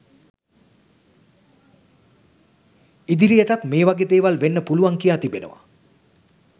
ඉදිරියටත් මේවගේ දේවල් වෙන්න පුළුවන් කියා තිබෙනවා.